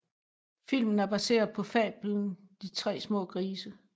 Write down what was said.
Filmen er baseret på fablen De tre små grise